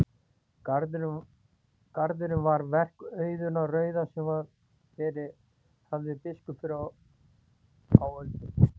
Garðurinn var verk Auðunar rauða sem verið hafði biskup fyrr á öldum.